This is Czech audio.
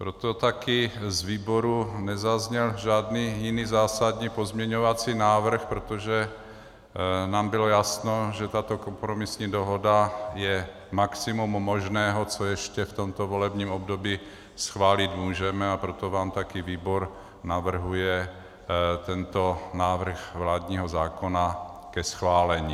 Proto také z výboru nezazněl žádný jiný zásadní pozměňovací návrh, protože nám bylo jasné, že tato kompromisní dohoda je maximum možného, co ještě v tomto volebním období schválit můžeme, a proto vám také výbor navrhuje tento návrh vládního zákona ke schválení.